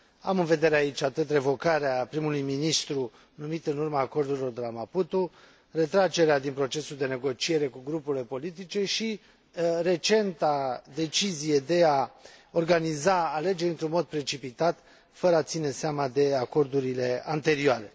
Am în vedere aici revocarea primului ministru numit în urma acordurilor de la Maputo, retragerea din procesul de negociere cu grupurile politice și recenta decizie de a organiza alegeri într un mod precipitat, fără a ține seama de acordurile anterioare.